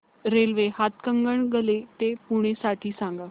railway Hatkanangale ते पुणे साठी सांगा